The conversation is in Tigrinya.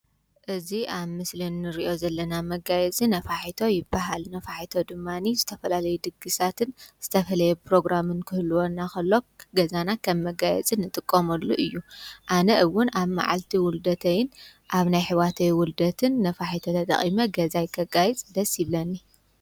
እዙ ኣብ ምስልን ንርዮ ብለኒ። መጋየጺ ነፋሒቶ ይበሃል ነፋሒቶ ድማኒ ዝተፈላለይ ድግሳትን ዝተፍለየ ፕሮግራም ክህልወና ኸሎ ገዛና ኸብ መጋየጺ ንጥቆመሉ እዩ። ኣነ እውን ኣብ መዓልቲ ውሉደተይን ኣብ ናይ ሕዋተይውልደትን ነፋሒቶ ተጠቒመ ገዛይ ከጋይጽደስ ብለኒ።